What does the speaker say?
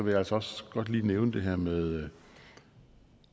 jeg altså også godt lige nævne det her med